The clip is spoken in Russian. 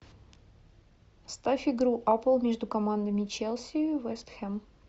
ставь игру апл между командами челси вест хэм